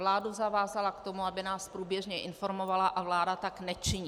Vládu zavázala k tomu, aby nás průběžně informovala, a vláda tak nečiní.